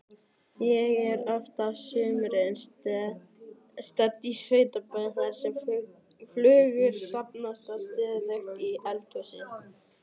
Ég er oft á sumrin stödd á sveitabæ þar sem flugur safnast stöðugt í eldhúsið.